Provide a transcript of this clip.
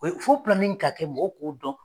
O ye fo de ka kɛ mɔgɔw k'o dɔn.